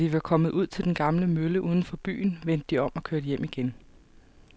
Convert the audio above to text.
Da de var kommet ud til den gamle mølle uden for byen, vendte de om og kørte hjem igen.